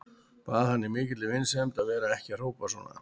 Bað hann í mikilli vinsemd að vera ekki að hrópa svona.